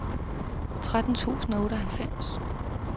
tretten tusind og otteoghalvfems